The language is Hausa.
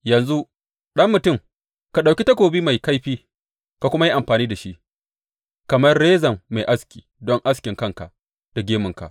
Yanzu, ɗan mutum, ka ɗauki takobi mai kaifi ka kuma yi amfani da shi kamar rezan mai aski don askin kanka da gemunka.